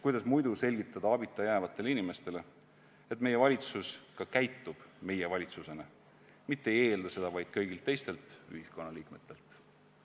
Kuidas muidu selgitada abita jäävatele inimestele, et meie valitsus ka käitub meie valitsusena, mitte ei eelda seda vaid kõigilt teistelt ühiskonnaliikmetelt?